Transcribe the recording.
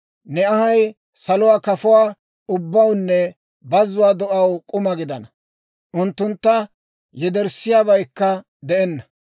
Ne anhay saluwaa kafuwaa ubbawunne bazzuwaa do'aw k'uma gidana; unttuntta yederssiyaabaykka de'enna.